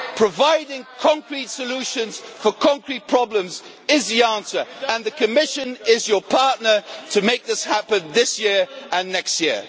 Providing concrete solutions for concrete problems is the answer, and the Commission is your partner to make this happen this year and next year.